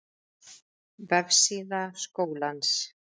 Vefsíða Skólans